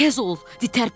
Tez ol, di tərpən.